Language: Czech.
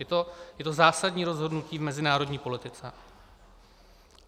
Je to zásadní rozhodnutí v mezinárodní politice.